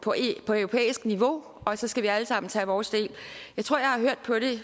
europæisk niveau og så skal vi alle sammen tage vores del jeg tror jeg har hørt på det